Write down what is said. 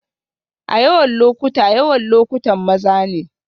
A yawan lokuta, yawan lokutan maza ne